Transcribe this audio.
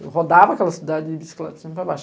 Eu rodava aquela cidade de bicicleta para cima e para baixo.